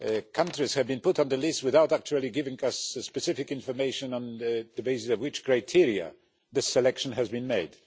countries have been put on the list without actually giving us specific information on the basis of which criteria the selection has been made.